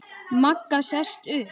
Magga sest upp.